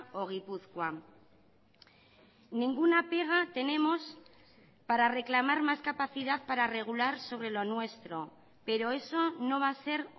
o gipuzkoa ninguna pega tenemos para reclamar más capacidad para regular sobre lo nuestro pero eso no va a ser